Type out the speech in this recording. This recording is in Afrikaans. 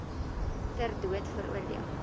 ter dood veroordeel